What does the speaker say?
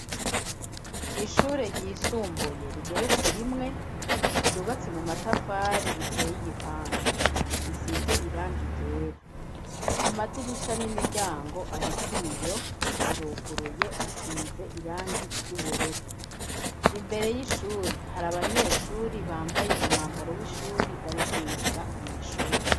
Ishure ryisumbuye rigeretse rimwe ryubatse mu matafari riteye igipande risize irangi ryera, amadirisha n'imiryango ariko ibiyo aruguruye asize irangi ry'ubururu, imbere y'ishure hari abanyeshure bambaye umwambaro w'ishure bari kwinjira mw'ishure.